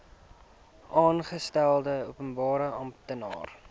aangestelde openbare amptenaar